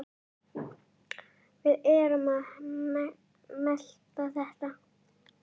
Við erum að melta þetta.